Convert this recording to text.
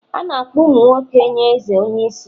A na-akpọ ụmụ nwoke nye eze onye isi